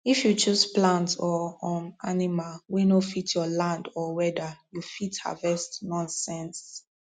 if you choose plant or um animal wey no fit your land or weather you fit harvest nonsense